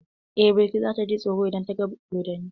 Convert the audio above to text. Eh, Balki za ta ji tsoro idan ta gan dodonni.